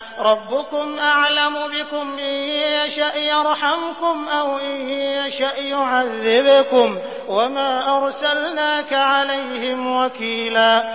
رَّبُّكُمْ أَعْلَمُ بِكُمْ ۖ إِن يَشَأْ يَرْحَمْكُمْ أَوْ إِن يَشَأْ يُعَذِّبْكُمْ ۚ وَمَا أَرْسَلْنَاكَ عَلَيْهِمْ وَكِيلًا